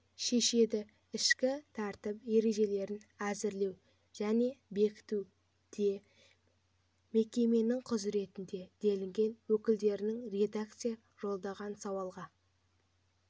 шешеді ішкі тәртіп ережелерін әзірлеу және бекіту де мекеменің құзыретінде делінген өкілдерінің редакция жолдаған сауалға